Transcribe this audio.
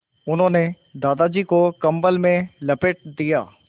उन्होंने दादाजी को कम्बल में लपेट दिया